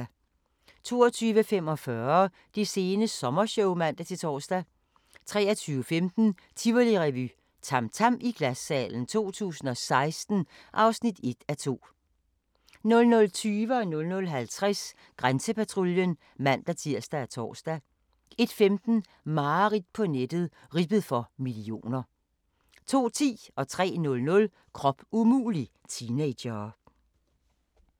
22:45: Det sene sommershow (man-tor) 23:15: Tivolirevy - TAM TAM i Glassalen 2016 (1:2) 00:20: Grænsepatruljen (man-tir og tor) 00:50: Grænsepatruljen (man-tir og tor) 01:15: Mareridt på nettet – ribbet for millioner 02:10: Krop umulig – teenagere 03:00: Krop umulig – teenagere